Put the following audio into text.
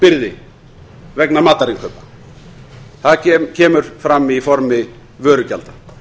skattbyrði vegna matarinnkaupa það kemur fram í formi vörugjalda